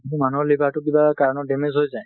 মানুহৰ liverটো কিবা কাৰনত damage হৈ যাই,